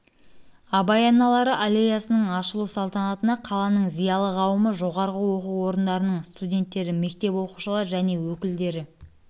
абай аналары аллеясының ашылу салтанатына қаланың зиялы қауымы жоғарғы оқу орындарының студенттері мектеп оқушылары және өкілдері